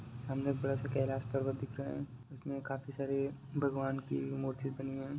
सामने एक बरा सा कैलाश पर्वत दिख रहा है उसमे काफी सारे भगवान की मूर्ति बनी हुई हैं।